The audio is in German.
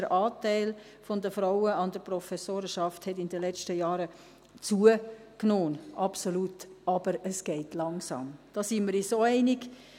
Der Anteil der Frauen in der Professorenschaft hat in den letzten Jahren zugenommen, absolut, aber es geht langsam, da sind wir uns auch einig.